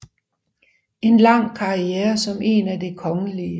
En lang karriere som en af Det kgl